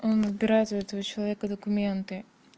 он отбирает у этого человека документы